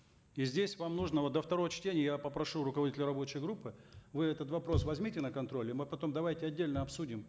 и здесь вам нужно вот до второго чтения я попрошу руководителя рабочей группы вы этот вопрос возьмите на контроль и мы потом давайте отдельно обсудим